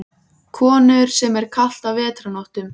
Konur, sem er kalt á vetrarnóttum.